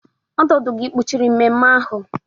ọdụ ọdụ gị kpuchiri mmemme ahụ?